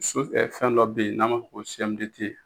fɛn dɔ bɛ yen n'a ma fɔ ko CMDT